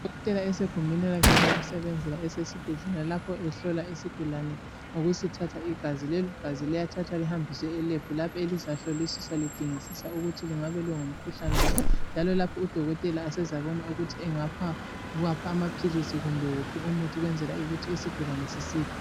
Udokotela usegumbini lakhe lokusebenzela, esesibhedlela. Lapha ehlola isigulane, ngokusithatha igazi. Leligazi liyathathwa lihambiswe eLebhu. Lapho elizahlolisiswa, lidingisiswa ukuthi lingabe lingumkhuhlane bani, njalo lapha udokotela usezabona, ukuthi angapha wuphi umuthi, kumbe amaphilisi. Ukwenzela ukuthi isigulane sisile.